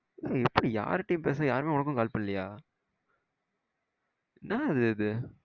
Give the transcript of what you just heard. எப்ப யார்கிட்டயும் பேசல யாரும் உனக்கும் கால் பண்ணலையா என்ன இது இது